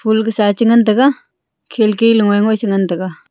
pul kasa che ngan taiga khelki lung e che ngan taiga.